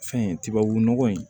Fɛn tubabu nɔgɔ in